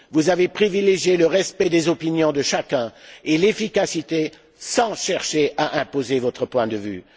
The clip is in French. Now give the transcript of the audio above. Vous avez privilégié le respect des opinions de chacun et l'efficacité, sans chercher à imposer votre point de vue.